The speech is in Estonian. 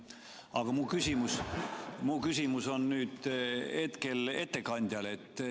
Aga mu küsimus on ettekandjale.